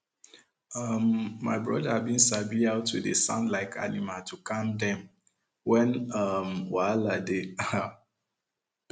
um my brother bin sabi how to dey sound like animal to calm dem when um wahala dey um